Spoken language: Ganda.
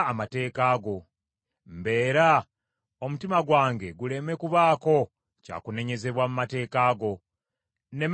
Mbeera, omutima gwange guleme kubaako kya kunenyezebwa mu mateeka go, nneme kuswazibwa!